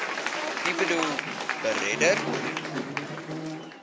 u boedel beredder